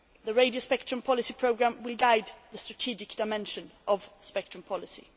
The radio spectrum policy programme will guide the strategic dimension of spectrum policy.